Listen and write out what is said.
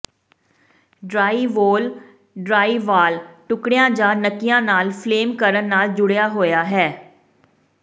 drywall drywall ਟੁਕੜਿਆਂ ਜਾਂ ਨੱਕੀਆਂ ਨਾਲ ਫਲੇਮ ਕਰਨ ਨਾਲ ਜੁੜਿਆ ਹੋਇਆ ਹੈ